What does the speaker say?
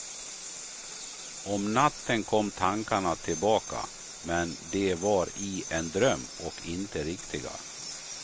Om natten kom tankarna tillbaka, men de var i en dröm och inte riktiga.